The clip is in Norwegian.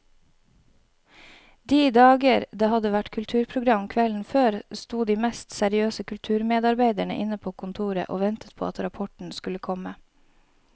De dager det hadde vært kulturprogram kvelden før, sto de mest seriøse kulturmedarbeidere inne på kontoret og ventet på at rapporten skulle komme.